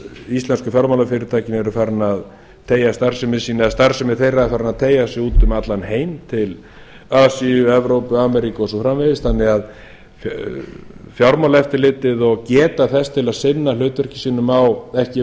íslensku fjármálafyrirtækin eru farin að teygja starfsemi sína eða starfsemi þeirra er farin að teygja sig út um allan heim til asíu evrópu ameríku og svo framvegis þannig að fjármálaeftirlitið og geta þess til að sinna hlutverkum sínum má ekki